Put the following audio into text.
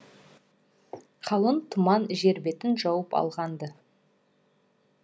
қалың тұман жер бетін жауып алған ды